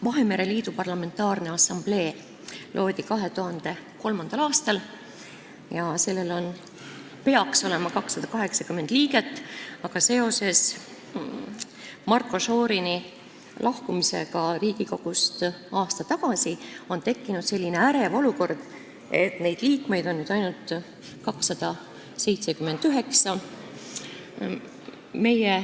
Vahemere Liidu Parlamentaarne Assamblee loodi 2003. aastal ja sellel peaks olema 280 liiget, aga seoses Marko Šorini lahkumisega Riigikogust aasta tagasi on tekkinud selline ärev olukord, et neid liikmeid on nüüd ainult 279.